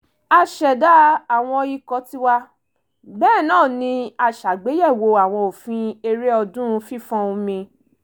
a ṣẹ̀dá àwọn ikọ̀ tiwa bẹ́ẹ̀ náà ni a ṣàgbéyẹ̀wò àwọn òfin eré ọdún fífọ́n omi